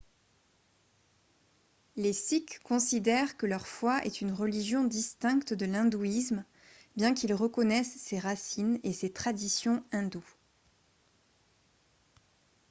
les sikhs considèrent que leur foi est une religion distincte de l'hindouisme bien qu'ils reconnaissent ses racines et ses traditions hindoues